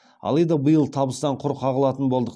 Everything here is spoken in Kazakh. алайда биыл табыстан құр қағылатын болдық